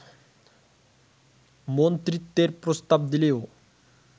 মন্ত্রিত্বের প্রস্তাব দিলেও